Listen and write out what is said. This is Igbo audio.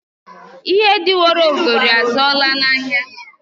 Ihe dị woro ogori azụọla n'ahịa.